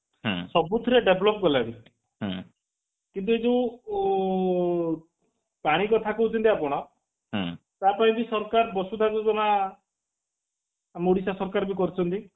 ସବୁଥିରେ develop କଲାଣି କିନ୍ତୁ ଏଇ ଯୋଉ ଊ ପାଣି କଥା କହୁଛନ୍ତି ଆପଣ ତା ପାଇଁ ବି ସରକାର ବସୁଧା ଯୋଜନା ଆମ ଓଡିଶା ସରକାର ବି କରୁଛନ୍ତି